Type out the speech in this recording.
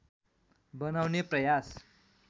बनाउने प्रयास